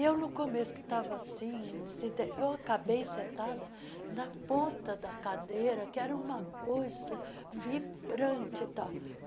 E eu, no começo, que estava assim desinte, eu acabei sentada na ponta da cadeira, que era uma coisa vibrante e tal.